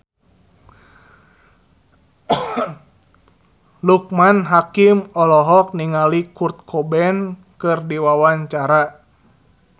Loekman Hakim olohok ningali Kurt Cobain keur diwawancara